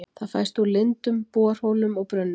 Það fæst úr lindum, borholum og brunnum.